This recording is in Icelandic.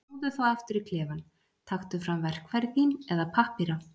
Snúðu þá aftur í klefann, taktu fram verkfæri þín eða pappíra.